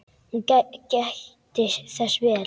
Hún gætti þess vel.